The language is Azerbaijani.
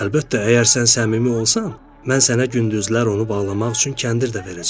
Əlbəttə, əgər sən səmimi olsan, mən sənə gündüzlər onu bağlamaq üçün kəndir də verəcəm.